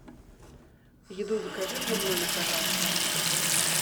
еду закажи мне в номер пожалуйста